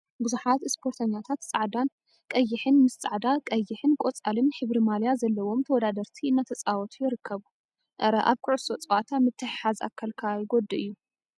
ቡዙሓት እስፖርተኛታት ፃዕዳን ቀይሕን ምስ ፃዕዳ፣ ቀይሕን ቆፃልን ሕብሪ ማልያ ዘለዎም ተወዳደርቲ እናተፃወቱ ይርከቡ፡፡ አረ አብ ኩዕሶ ፀወታ ምትሕሓዝ አካልካ ይጎድ እዩ፡፡